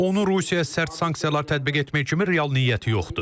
Onun Rusiyaya sərt sanksiyalar tətbiq etmək kimi real niyyəti yoxdur.